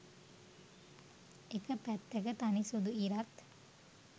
එක පැත්තක තනි සුදු ඉරත්